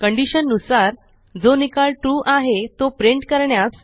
condition नुसार जो निकाल ट्रू आहे तो प्रिंट करण्यास